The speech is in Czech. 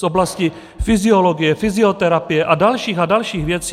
Z oblasti fyziologie, fyzioterapie a dalších a dalších věcí.